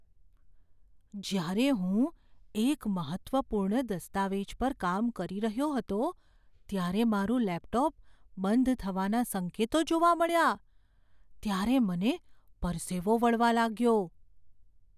જ્યારે હું એક મહત્ત્વપૂર્ણ દસ્તાવેજ પર કામ કરી રહ્યો હતો ત્યારે મારું લેપટોપ બંધ થવાના સંકેતો જોવા મળ્યા, ત્યારે મને પરસેવો વળવા લાગ્યો.